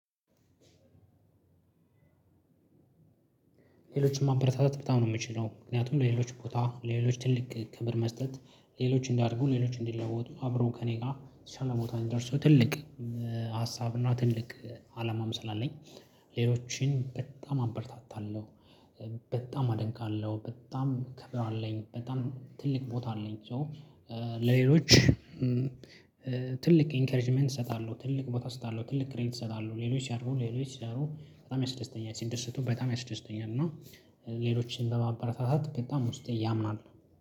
ሌሎችን ማበረታታት በጣም ነው የምችለው ምክንያቱም ለሌሎች ቦታ ለሌሎች ትልቅ ክብር መስጠት ሌሎች እንዲያድጉ ሌሎች እንዲለወጡ አብረው ከእኔ ጋር የተሻለ ቦታ እንዲደርሱ ትልቅ ሀሳብና ትልቅ አላማም ስላለኝ ሌሎችን በጣም አበረታታለሁ። በጣም አደንቃለሁ በጣም ከብር አለኝ በጣም ትልቅ ቦታ አለኝ። ሶ ለሌሎች ትልቅ ኢንከሬጅመንት እሰጣለሁ ትልቅ ቦታ እሰጣለሁ ትልቅ ክሬዲት እሰጣለሁ ሌሎች ሲያድጉ ሌሎች ሰው በጣም ያስደስተኛል። ሲደሰቱ በጣም ያስደስተኛል። እና ሌሎችን በማበረታታት በጣም ውስጤ ያምናል